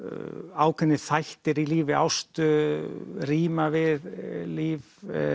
ákveðnir þættir í lífi Ástu ríma við líf